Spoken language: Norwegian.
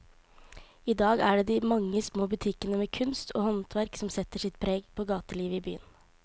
I dag er det de mange små butikkene med kunst og håndverk som setter sitt preg på gatelivet i byen.